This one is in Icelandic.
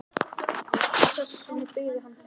Að þessu sinni byggði hann þau.